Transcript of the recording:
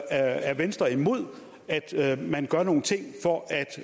er venstre imod at man gør nogle ting for